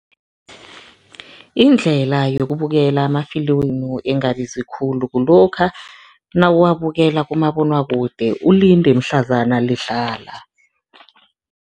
Indlela yokubukela amafilimu engabizi khulu kulokha nawuwabukela kumabonwakude ulinde mhlazana lidlala.